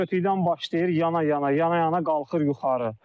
Kötükdən başlayır yana-yana, yana-yana qalxır yuxarı.